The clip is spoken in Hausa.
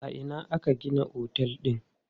A ina aka gina otel din?